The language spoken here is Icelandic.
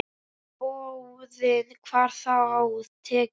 Hvorugu boðinu var þá tekið.